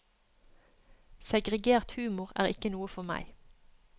Segregert humor er ikke noe for meg.